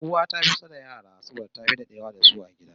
Uwa ta fi kusa da yara saboda tafi dadewa da su a gida